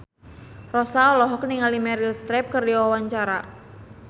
Rossa olohok ningali Meryl Streep keur diwawancara